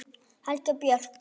Helga Björk.